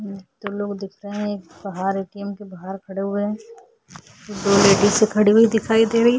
एक दो लोग दिख रहे है एक बाहर ए_टी_एम के बाहर खड़े हुए है दो लेडीसे खड़ी हुई दिख रही है।